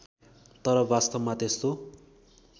तर वास्तवमा त्यस्तो